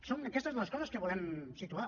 són aquestes les coses que volem situar